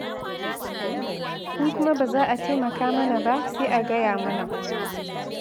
In kuma ba za a taimaka mana ba sai a gaya mana.